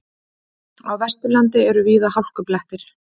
Á Vesturlandi eru víða hálkublettir